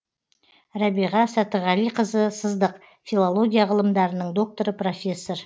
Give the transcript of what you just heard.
рәбиға сәтіғалиқызы сыздық филология ғылымдарының докторы профессор